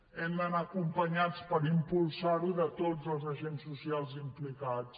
hem d’anar acompanyats per impulsar ho de tots els agents socials implicats